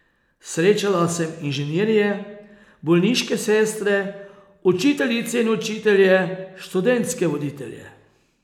Srečala sem inženirje, bolniške sestre, učiteljice in učitelje, študentske voditelje ...